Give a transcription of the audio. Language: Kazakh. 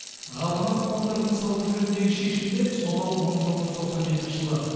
ғаламат қондырғыны салу жөніндегі шешімді сонау мың тоғыз жүз тоқсан жетінші жылы